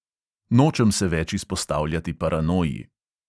Nočem se več izpostavljati paranoji.